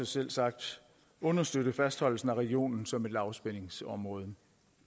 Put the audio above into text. selvsagt understøtte fastholdelsen af regionen som et lavspændingsområde